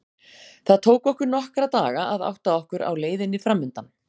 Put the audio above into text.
Það tók okkur nokkra daga að átta okkur á leiðinni framundan.